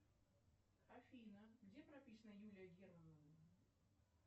афина где прописана юлия гермонова